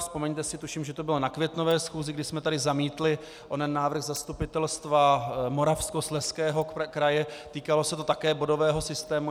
Vzpomeňte si, tuším, že to bylo na květnové schůzi, kdy jsme tady zamítli onen návrh Zastupitelstva Moravskoslezského kraje, týkalo se to také bodového systému.